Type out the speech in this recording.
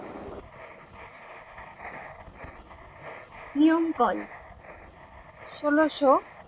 নিয়ম কল ষোলো শো